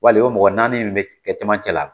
Wali o mɔgɔ naani min be kɛ camancɛ la .